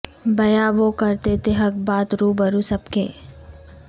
بیاں وہ کرتے تھے حق بات روبرو سب کے